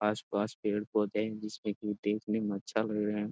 आसपास पेड़-पौधे हैं जिसमें की देखने में अच्छा लग रहें हैं।